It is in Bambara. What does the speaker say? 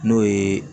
N'o ye